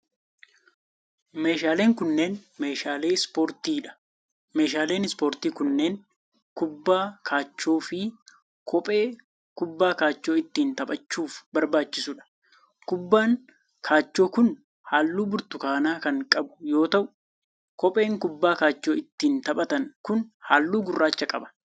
Meeshaaleen kunneen meeshaalee ispoortii dha. Meeshaaleen ispoortii kunneen kubbaa kaachoo fi kophee kubbaa kaachoo ittiin taphachuuf barbaachisuu dha. Kubbaan kaachoo kun haalluu burtukaanaa kan qab yoo ta'u, kopheen kubbaa kaachoo ittiin taphatan kun haalluu gurraacha qaba.